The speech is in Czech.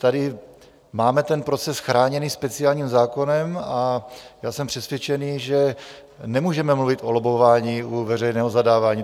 Tady máme ten proces chráněný speciálním zákonem a já jsem přesvědčen, že nemůžeme mluvit o lobbování u veřejného zadávání.